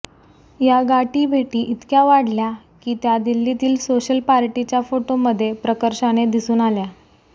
या गाठीभेटी इतक्या वाढल्या की त्या दिल्लीतील सोशल पार्टीच्या फोटोमध्ये प्रकर्षाने दिसून आल्या